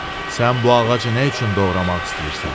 Sən bu ağacı nə üçün doğramaq istəyirsən?